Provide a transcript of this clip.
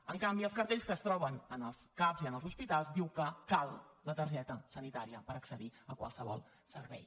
en canvi els cartells que es troben en els cap i en els hospitals diuen que cal la targeta sanitària per accedir a qualsevol servei